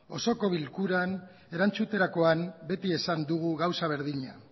osoko bilkuran erantzuterakoan beti esan dugu gauza berdina